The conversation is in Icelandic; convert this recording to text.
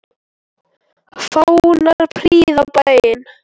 Fánar prýða bæinn.